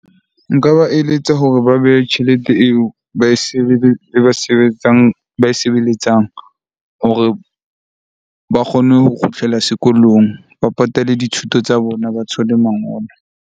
Nka ba eletsa hore ba behe tjhelete eo ba e ba sebetsang, ba e sebeletsang hore ba kgone ho kgutlela sekolong. Ba patalle dithuto tsa bona, ba thole mangolo.